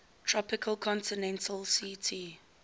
tropical continental ct